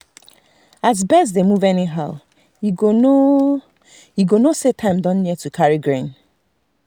as birds dey move anyhow e go know e go know say time don near to carry grain.